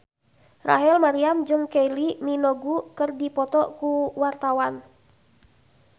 Rachel Maryam jeung Kylie Minogue keur dipoto ku wartawan